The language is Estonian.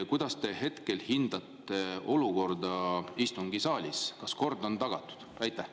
Kuidas te hindate hetkel olukorda istungisaalis, kas kord on tagatud?